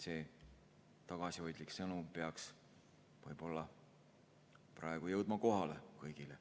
See tagasihoidlik sõnum peaks võib-olla praegu jõudma kohale kõigile.